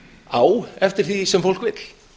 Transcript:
á eftir því sem fólk vill